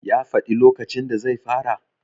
ya faɗi lokacin da zai fara?